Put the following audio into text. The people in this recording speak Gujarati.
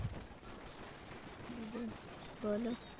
બીજું બોલો.